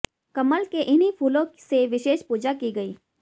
कमल के इन्हीं फूलों से विशेष पूजा की गई